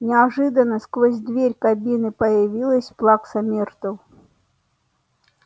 неожиданно сквозь дверь кабины появилась плакса миртл